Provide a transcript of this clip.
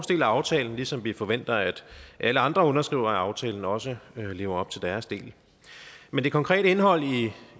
del af aftalen ligesom vi forventer at alle andre underskrivere af aftalen også lever op til deres del men det konkrete indhold